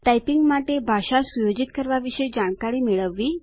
typing માટે ભાષા સુયોજિત કરવા વિશે જાણકારી મેળવવી